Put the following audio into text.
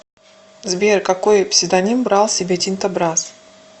сбер какои псевдоним брал себе тинто брасс